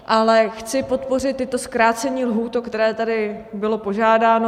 Ale chci podpořit i zkrácení lhůt, o které tady bylo požádáno.